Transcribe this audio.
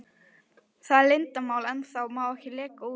Það er leyndarmál ennþá, má ekki leka út.